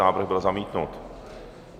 Návrh byl zamítnut.